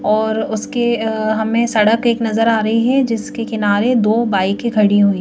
और उसके अ हमें सड़क एक नजर आ रही है जिसके किनारे दो बाइके खड़ी हुई --